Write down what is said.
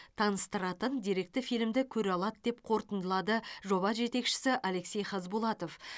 таныстыратын деректі фильмді көре алады деп қорытындылады жоба жетекшісі алексей хазбулатов